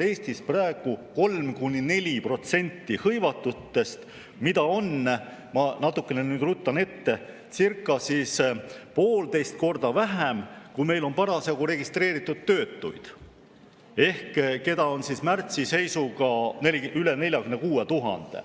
Eestis praegu 3–4% hõivatutest, mida on, ma natukene ruttan ette, circa poolteist korda vähem, kui meil on registreeritud töötuid, keda märtsi seisuga oli üle 46 000.